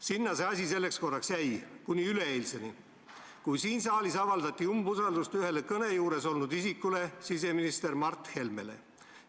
" Sinna see asi selleks korraks jäi kuni üleeilseni, kui siin saalis avaldati umbusaldust ühele tolle kõne juures olnud isikule, siseminister Mart Helmele.